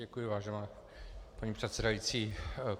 Děkuji, vážená paní předsedající.